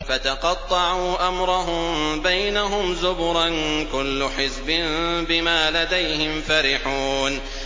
فَتَقَطَّعُوا أَمْرَهُم بَيْنَهُمْ زُبُرًا ۖ كُلُّ حِزْبٍ بِمَا لَدَيْهِمْ فَرِحُونَ